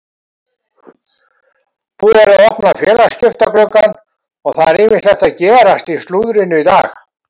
Búið er að opna félagaskiptagluggann og það er ýmislegt að gerast í slúðrinu í dag.